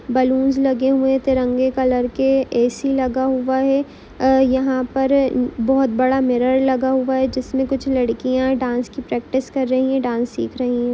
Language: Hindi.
बलुन्स लगे हुए है तिरंगे कलर के ए_सी लगा हुआ है अ यहाँ पर बहुत बडा मिरर लगा हुआ है जिसमे कुछ लड़किया डान्स कि प्रैक्टिस कर रही है डांस सिख रही है।